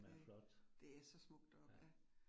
Det. Det er så smukt deroppe ja